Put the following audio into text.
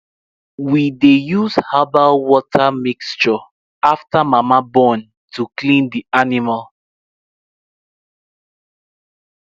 we de use herbal water mixture after mama born to clean the animal